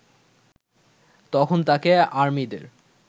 তখন তাকে আর্মিদের